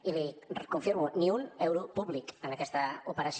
i l’hi dic ho confirmo ni un euro públic en aquesta operació